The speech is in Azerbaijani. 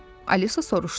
Alisa soruşdu.